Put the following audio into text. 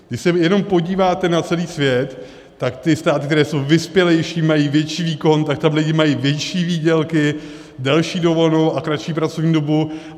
Když se jenom podíváte na celý svět, tak ty státy, které jsou vyspělejší, mají větší výkon, tak tam lidi mají větší výdělky, delší dovolenou a kratší pracovní dobu.